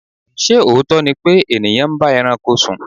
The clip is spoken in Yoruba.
Ṣé òótọ́ ni pé ènìyàn ń bá ẹranko sùn?